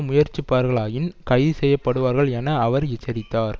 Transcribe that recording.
முயற்சிப்பார்களாயின் கைதுசெய்யப்படுவார்கள் என அவர் எச்சரித்தார்